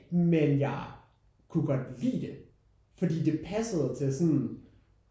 Men jeg kunne godt lide det fordi det passede til sådan